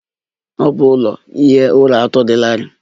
Ọ bụ ụlọ ihi ụra atọ dị larịị.